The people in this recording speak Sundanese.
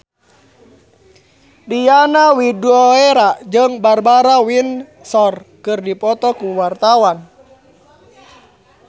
Diana Widoera jeung Barbara Windsor keur dipoto ku wartawan